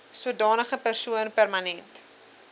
sodanige persoon permanent